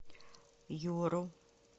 юру